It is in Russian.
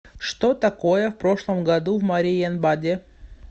что такое в прошлом году в мариенбаде